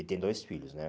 E tem dois filhos, né?